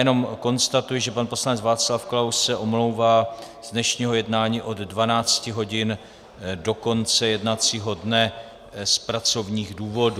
Jenom konstatuji, že pan poslanec Václav Klaus se omlouvá z dnešního jednání od 12 hodin do konce jednacího dne z pracovních důvodů.